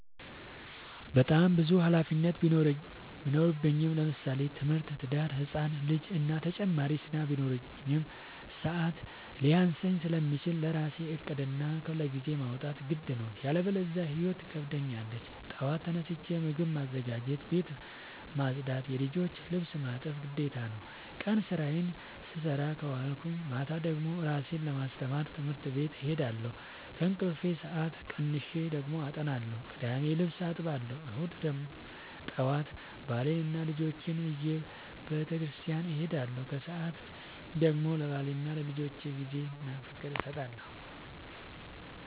በጣም ብዙ ሀላፊነት ቢኖርብኝ ለምሳሌ፦ ትምህርት፣ ትዳር፣ ህፃን ልጂ እና ተጨማሪ ስራ ቢኖርብኝ። ሰዐት ሊያንሰኝ ስለሚችል ለራሴ ዕቅድ እና ክፍለጊዜ ማውጣት ግድ ነው። ያለበዚያ ህይወት ትከብደኛለች ጠዋት ተነስቼ ምግብ ማዘጋጀት፣ ቤት መፅዳት የልጆቼን ልብስ ማጠብ ግዴታ ነው። ቀን ስራዬን ስሰራ ከዋልኩኝ ማታ ደግሞ እራሴን ለማስተማር ትምህርት ቤት እሄዳለሁ። ከእንቅልፌ ሰአት ቀንሼ ደግሞ አጠናለሁ ቅዳሜ ልብስ አጥባለሁ እሁድ ጠዋት ባሌንና ልጆቼን ይዤ በተስኪያን እሄዳለሁ። ከሰዓት ደግሞ ለባሌና ለልጆቼ ጊዜ እና ፍቅር እሰጣለሁ።